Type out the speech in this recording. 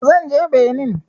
Zan je Benin